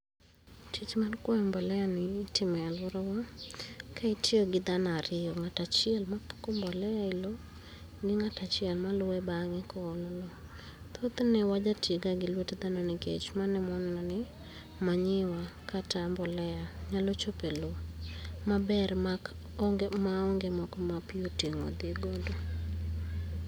Tich mar kwoyo mbolea ni itimo e alwora wa ka itiyo gi thano ariyo ng'at achiel mapuko mbolea e loo gi ngat achiel ma luwe bang'e koolo thothne wajatiye ga lwet dhano nikech mano emawaneno ni manure kata mbolea maonge ma pii oting'o odhi godo.